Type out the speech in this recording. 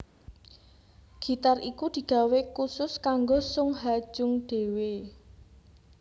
Gitar iku digawé kusus kanggo Sung Ha Jung dhéwé